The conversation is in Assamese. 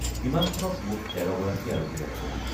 বিমানখনত মুঠ ১৩গৰাকী আৰোহী আছিল।